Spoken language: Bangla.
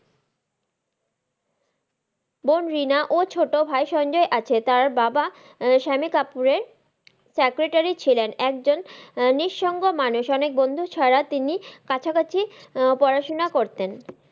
বোন রিনা ও ছোটো ভাই সঞ্জয় আছে, তার বাবা সানি কাপুরের এর secretery ছিলেন একজন নিসঙ্গ মানুষ মানে বন্ধু ছাড়া তিনি কাছাকাছি পড়াশোনা করতেন।